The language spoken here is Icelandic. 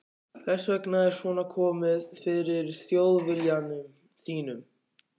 Þess vegna er svona komið fyrir Þjóðviljanum þínum og mínum.